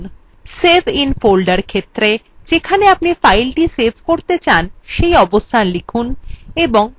isave in folder ক্ষেত্রে যেখানে আপনি file save করতে চান সেই অবস্থান লিখুন এবং save click করুন